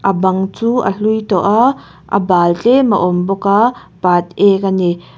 a bang chu a hlui tawh a a bâl tlêm a awm bawk a pât êk a ni.